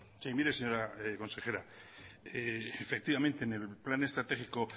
sí mire señora consejera efectivamente en el plan estratégico